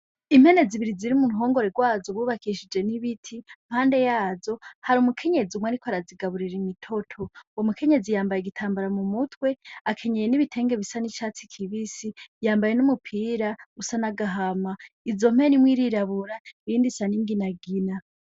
Impene zibiri ziri mu ruhongore rwazo, bu bakishije n’ibiti. Impande yazo hari umukenyezi umwe ariko arazigaburira imitoto. Uwo mukenyezi yambaye igitambara mu mutwe, akenyeye n’ibitenge bisa n’icatsi kibisi, yambaye n’umupira usa n’agahama. Izo mpene, imwe irirabura iyindi isa n’inginagina.